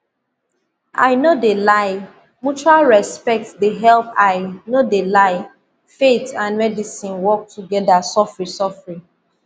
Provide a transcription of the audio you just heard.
i no de lie mutual respect de help i no de lie faith and medicine work together sofri sofri